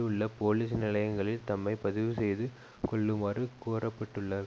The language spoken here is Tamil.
உள்ள போலிஸ் நிலையங்களில் தம்மை பதிவுசெய்து கொள்ளுமாறு கோரப்பட்டுள்ளர்